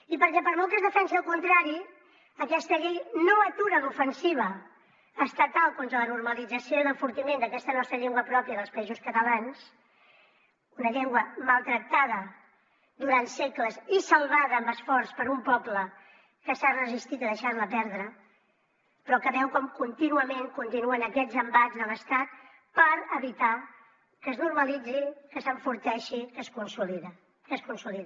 i perquè per molt que es defensi el contrari aquesta llei no atura l’ofensiva estatal contra la normalització i l’enfortiment d’aquesta nostra llengua pròpia dels països catalans una llengua maltractada durant segles i salvada amb esforç per un poble que s’ha resistit a deixarla perdre però que veu com contínuament continuen aquests embats de l’estat per evitar que es normalitzi que s’enforteixi que es consolidi